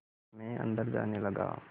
मैं अंदर जाने लगा